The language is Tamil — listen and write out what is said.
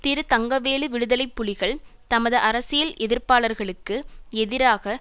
திரு தங்கவேலு விடுதலை புலிகள் தமது அரசியல் எதிர்ப்பாளர்களுக்கு எதிராக